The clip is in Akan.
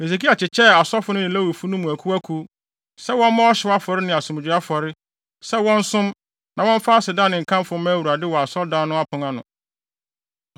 Hesekia kyekyɛɛ asɔfo no ne Lewifo no mu akuwakuw, sɛ wɔmmɔ ɔhyew afɔre ne asomdwoe afɔre, sɛ wɔnsom, na wɔmfa aseda ne nkamfo mma Awurade wɔ Asɔredan no apon ano.